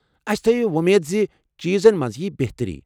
اَسہِ تھایو وۄمید زِ چیٖزن منز یی بہتری ۔